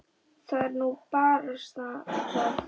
Það er nú barasta það.